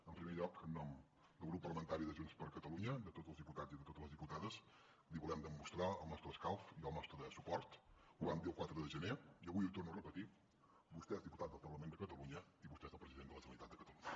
en primer lloc en nom del grup parlamentari de junts per catalunya de tots els diputats i de totes les diputades li volem demostrar el nostre escalf i el nostre suport ho vam dir el quatre de gener i avui ho torno a repetir vostè és diputat del parlament de catalunya i vostè és el president de la generalitat de catalunya